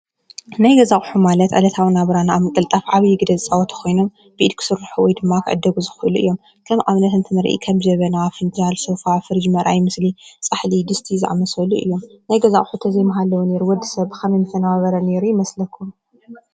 ናይ ገዛ ኣቁሑ ማለት ዕለታዊ ናብራና ኣብ ምቅልጣፍ ዓብይ ግደ ዘጻወት ኮይኑ ብኢድ ክስርሑ ወይድማ ክዕደጉ ዝክእሉ እዮም። ከም ኣብነት እንትንሪ ከም ጀበና ፣ፍንጃል፣ ሶፋ፣ ፍርጅ ፣መርኣይ ምስሊ፣ ጻሕሊ፣ ድስቲ ዝኣመሰሉ እዮም። ናይ ገዛ ኣቁሑት እንተዘይምሃለወ ነይሮም ወዲሰብ ብከመይ ምተነባበረ ነይሩ ይመስለኩም?